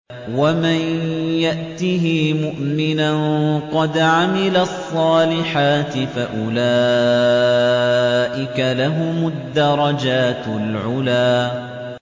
وَمَن يَأْتِهِ مُؤْمِنًا قَدْ عَمِلَ الصَّالِحَاتِ فَأُولَٰئِكَ لَهُمُ الدَّرَجَاتُ الْعُلَىٰ